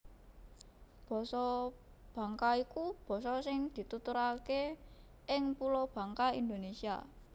Basa Bangka iku basa sing dituturaké ing Pulo Bangka Indonésia